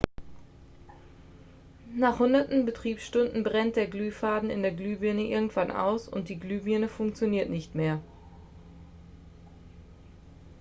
nach hunderten betriebsstunden brennt der glühfaden in der glühbirne irgendwann aus und die glühbirne funktioniert nicht mehr